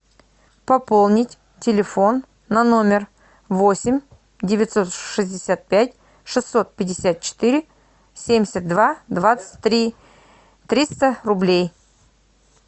пополнить телефон на номер восемь девятьсот шестьдесят пять шестьсот пятьдесят четыре семьдесят два двадцать три триста рублей